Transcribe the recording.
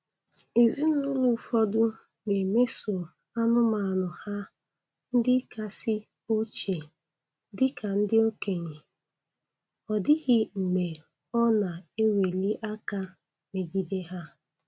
Ezinụlọ ụfọdụ na-emeso anụmanụ ha ndị kasị ochie dị ka ndị okenye, ọ dịghị mgbe ọ na-eweli aka megide ha.